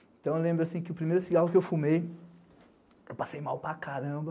Então eu lembro que o primeiro cigarro que eu fumei, eu passei mal para caramba,